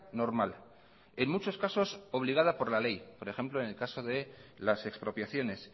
normal en muchos casos obligada por la ley por ejemplo en el caso de las expropiaciones